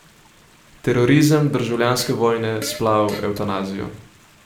Terorizem, državljanske vojne, splav, evtanazijo.